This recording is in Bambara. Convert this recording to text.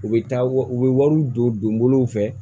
U bɛ taa u bɛ wariw don donbolow fɛ